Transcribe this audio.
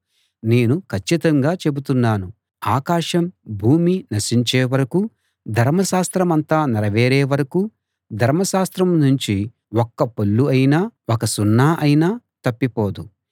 నేను కచ్చితంగా చెబుతున్నాను ఆకాశం భూమి నశించే వరకూ ధర్మశాస్త్రమంతా నెరవేరే వరకూ ధర్మశాస్త్రం నుంచి ఒక్క పొల్లు అయినా ఒక సున్నా అయినా తప్పిపోదు